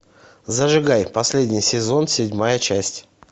зажигай последний сезон седьмая часть